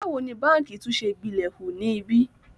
Báwo ni báǹkì tún ṣe gbilẹ̀ hu ni ibí?